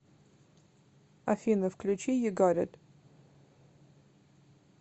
афина включи ю гат ит